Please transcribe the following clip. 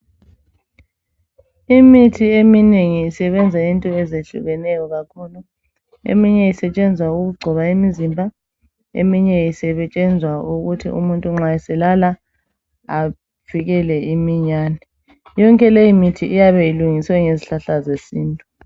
Imithi eminengi isebenza entweni ezehlukeneyo kakhulu eminye esetshenzwa ukugcoba imizimba, eminye isetshenzwa ukuthi umuntu nxa selala avikele imiyane. Yonke leyi mithi iyabe ilungiswe ngezihlahla zesintu.